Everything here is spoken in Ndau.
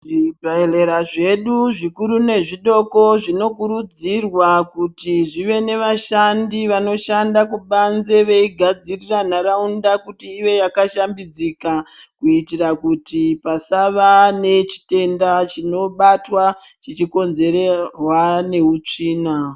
Zvibhedhlera zvedu zvikuru nezvidoko zvinokurudzirwa kuti zvive nevashandi vanoshanda kubanze veigadzirira nharaunda kuti ive yakashambidzika kuitira kuti pasava nechitenda chinobatwa chichikonzerwa neutsvina .